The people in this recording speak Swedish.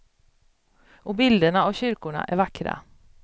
Och bilderna av kyrkorna är vackra.